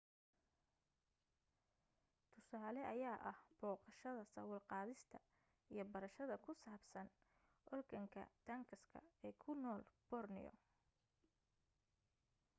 tusaale ayaa ah booqashada sawir-qaadista, iyo barashada ku saabsan organgatuangs ee ku nool borneo